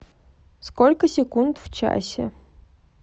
сколько секунд в часе